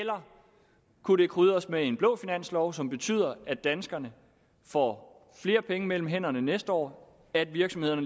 kunne krydres med en blå finanslov som betyder at danskerne får flere penge mellem hænderne næste år og at virksomhederne